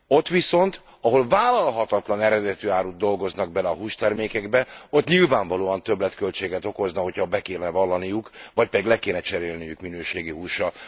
Ott viszont, ahol vállalhatatlan eredetű árut dolgoznak bele a hústermékekbe, ott nyilvánvalóan többletköltséget okozna, hogyha be kéne vallaniuk vagy pedig le kéne cserélniük minőségi húsra.